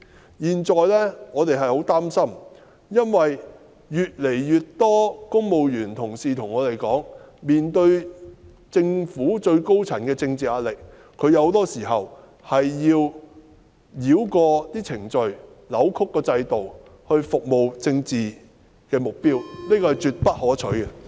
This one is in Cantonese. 我們現在十分擔心，因為越來越多公務員同事向我們表示，面對着政府最高層的政治壓力，他們很多時需要繞過程序、扭曲制度，為政治目標服務，......